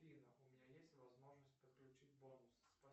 афина у меня есть возможность подключить бонус